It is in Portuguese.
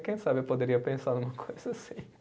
Quem sabe eu poderia pensar numa coisa assim.